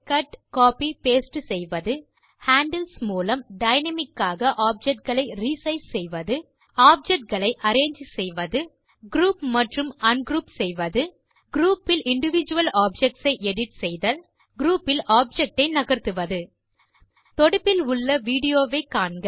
cut copy paste objects handles மூலம் dynamic ஆக object களை re சைஸ் செய்வது அரேஞ்சு ஆப்ஜெக்ட்ஸ் குரூப் மற்றும் ungroup objects group fill individual objects ஐ எடிட் செய்தல் குரூப் பில் ஆப்ஜெக்ட் ஐ நகர்த்துவது தொடுப்பில் உள்ள விடியோ வை காண்க